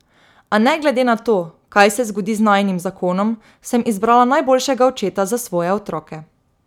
A ne glede na to, kaj se zgodi z najinim zakonom, sem izbrala najboljšega očeta za svoje otroke.